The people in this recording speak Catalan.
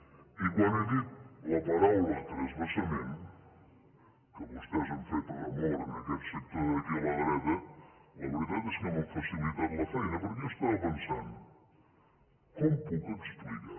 i quan he dit la paraula transvasament que vostès han fet remor en aquest sector d’aquí a la dreta la veritat és que m’han facilitat la feina perquè jo estava pensant com puc explicar